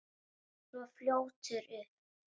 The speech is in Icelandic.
Hann er svo fljótur upp.